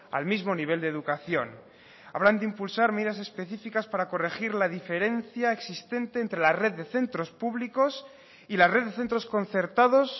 al mismo nivel de educación hablan de impulsar medidas específicas para corregir la diferencia existente entre la red de centros públicos y la red de centros concertados